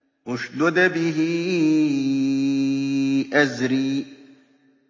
اشْدُدْ بِهِ أَزْرِي